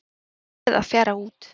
Flóðið að fjara út